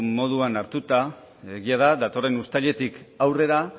moduan hartuta egia da datorren uztailetik aurrera